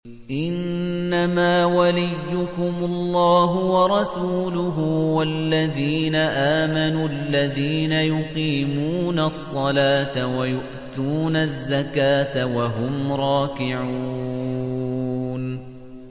إِنَّمَا وَلِيُّكُمُ اللَّهُ وَرَسُولُهُ وَالَّذِينَ آمَنُوا الَّذِينَ يُقِيمُونَ الصَّلَاةَ وَيُؤْتُونَ الزَّكَاةَ وَهُمْ رَاكِعُونَ